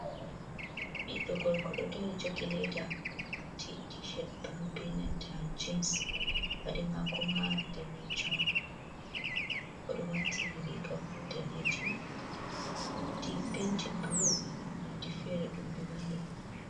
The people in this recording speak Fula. "Nda ɓiddu gorko" ɗo dari jogi leda odo wati tished ɓulu be nanta jins paɗe mako ma ɗanejum odo wati riga ɓo danejum wodi penti bulu ha maɗi fere ɗumɓe mahi.